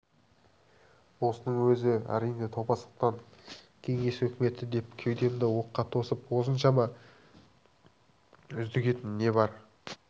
осының өзі әрине топастықтан кеңес өкіметі деп кеудемді оққа тосып осыншама үздігетін не бар